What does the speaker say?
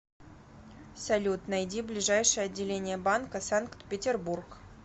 салют найди ближайшее отделение банка санкт петербург